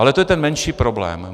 Ale to je ten menší problém.